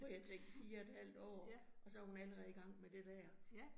Hvor jeg tænkte 4 et halvt år, og så hun allerede i gang med det dér